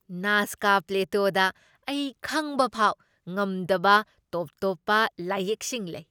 ꯅꯥꯖꯀꯥ ꯄ꯭ꯂꯦꯇꯣꯗ ꯑꯩ ꯈꯪꯕꯐꯥꯎ ꯉꯝꯗꯕ ꯇꯣꯞ ꯇꯣꯞꯄ ꯂꯥꯏꯌꯦꯛꯁꯤꯡ ꯂꯩ꯫